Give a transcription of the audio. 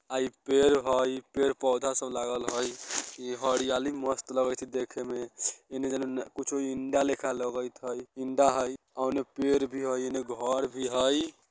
आ ई पेड़ हई पेड़-पोधा सब लागल हई इ हरियाली मस्त लगै छे देखे में इने जन्मना कुछो इन्डा लिखा लगैत हई इन्डा हई ओने पेर भी हई इन्ने घर भी हई।